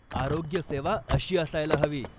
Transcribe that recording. आरोग्यसेवा अशी असायला हवी.